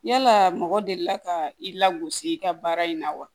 Yala mɔgɔ delila ka i lagosi i ka baara in na wa